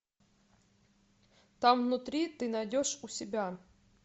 там внутри ты найдешь у себя